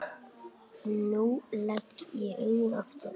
Nú legg ég augun aftur.